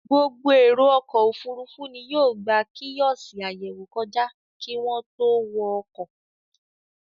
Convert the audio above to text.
Gbogbo èrò ọkọ̀-òfurufú ni yóò gba kíọ́sì àyẹ̀wò kọjá kí wọ́n tó wọ ọkọ̀.